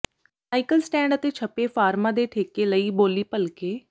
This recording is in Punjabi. ਸਾਈਕਲ ਸਟੈਂਡ ਅਤੇ ਛਪੇ ਫਾਰਮਾਂ ਦੇ ਠੇਕੇ ਲਈ ਬੋਲੀ ਭਲਕੇ